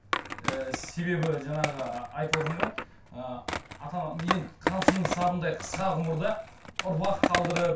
і себебі жаңағы айтып отырмын ғой ыыы ата ана енді қамшының сабындай қысқа ғұмырда ұрпақ қалдырып